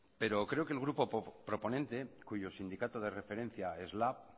pero creo que el grupo proponente cuyo sindicato de referencia es lab